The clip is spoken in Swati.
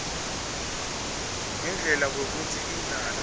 ngendlela kwekutsi indlala